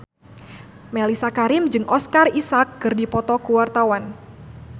Mellisa Karim jeung Oscar Isaac keur dipoto ku wartawan